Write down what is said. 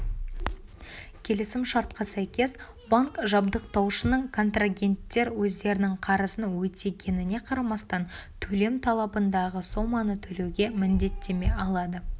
келісім-шартқа сәйкес банк жабдықтаушының контрагенттер өздерінің қарызын өтегеніне қарамастан төлем талабындағы соманы төлеуге міндеттеме алады